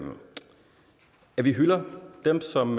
at vi hylder dem som